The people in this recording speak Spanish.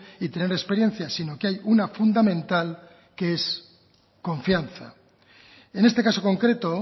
y tener experiencia sino que hay una fundamental que es confianza en este caso concreto